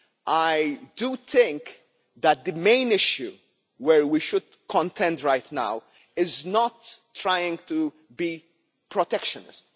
I think that the main issue on which we should focus right now is not trying to be protectionist.